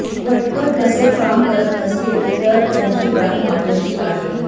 व्हटकर तसे काम करत नसतील तर त्यांची गाठ माझ्याशी आहे